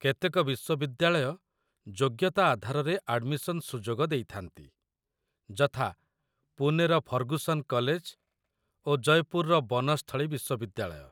କେତେକ ବିଶ୍ୱବିଦ୍ୟାଳୟ ଯୋଗ୍ୟତା ଆଧାରରେ ଆଡମିସନ୍ ସୁଯୋଗ ଦେଇଥାନ୍ତି, ଯଥା ପୁନେର ଫର୍ଗୁସନ୍ କଲେଜ ଓ ଜୟପୁରର ବନସ୍ଥଳୀ ବିଶ୍ୱବିଦ୍ୟାଳୟ